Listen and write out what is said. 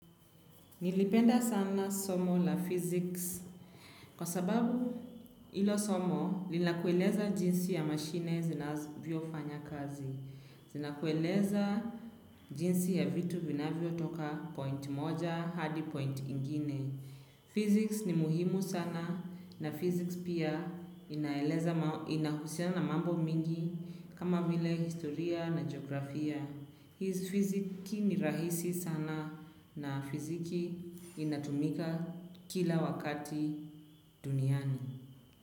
Nilipenda sana somo la physics kwa sababu hilo somo nila kueleza jinsi ya mashine zinavyofanya kazi. Zina kueleza jinsi ya vitu vina vyo toka point moja hadi point ingine. Physics ni muhimu sana na physics pia inahusianana mambo mingi kama vile historia na geografia. Fiziki ni rahisi sana na fiziki inatumika kila wakati duniani.